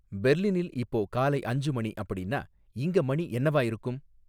பெர்லினில் இப்போ காலை அஞ்சு மணி அப்படின்னா இங்க மணி என்னவா இருக்கும்